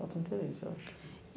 Falta interesse, eu acho.